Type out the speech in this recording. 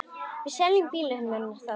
Við seljum bílinn hennar þá.